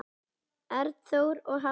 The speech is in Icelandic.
Arnþór og Hafdís Hera.